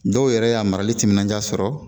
Dɔw yɛrɛ y'a marali timinanja sɔrɔ